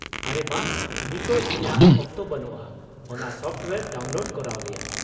ᱟᱨᱮ ᱵᱟᱝ, ᱱᱤᱛᱚᱜ ᱤᱧᱟᱹᱜ ᱚᱠᱛᱚ ᱵᱟᱱᱩᱜᱼᱟ ᱚᱱᱟ ᱥᱚᱯᱷᱴᱳᱭᱟᱨ ᱰᱟᱣᱩᱱᱞᱳᱰ ᱠᱚᱨᱟᱣ ᱨᱮᱭᱟᱜ ᱾